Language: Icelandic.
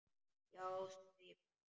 Já, sagði barnið.